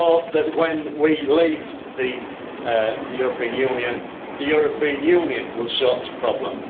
I hope that, when we leave the European Union, the European Union will sort this problem.